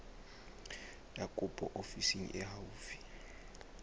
ya kopo ofising e haufi